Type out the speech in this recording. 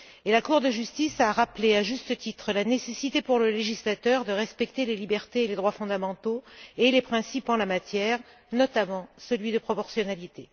La Cour de justice a rappelé, à juste titre, la nécessité, pour le législateur, de respecter les libertés et les droits fondamentaux, ainsi que les principes en la matière, notamment celui de proportionnalité.